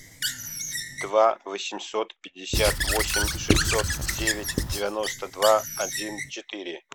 два восемьсот пятьдесят восемь шестьсот девять девяносто два один четыре